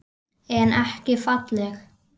En ekki falleg.